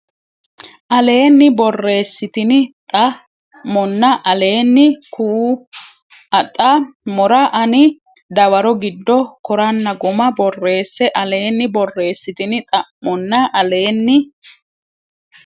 Aleenni borreessitini xa monna aleeni ka u xa mora ani dawaro giddo koranna guma borreesse Aleenni borreessitini xa monna Aleenni.